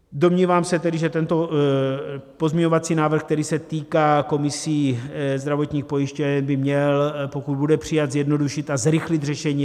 Domnívám se tedy, že tento pozměňovací návrh, který se týká komisí zdravotních pojišťoven, by měl, pokud bude přijat, zjednodušit a zrychlit řešení.